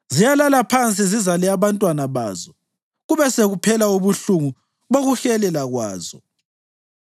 Ziyalala phansi zizale abantwana bazo; kube sekuphela ubuhlungu bokuhelelwa kwazo.